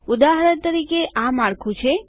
ઉદાહરણ તરીકે આ માળખું છે